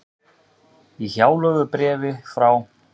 Í hjálögðu bréfi frá